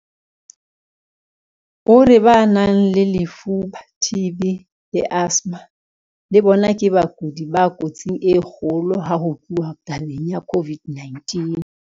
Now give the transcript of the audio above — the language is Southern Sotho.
O re ba nang le lefuba TB le asthma le bona ke bakudi ba kotsing e kgolo ha ho tluwa tabeng ya COVID-19.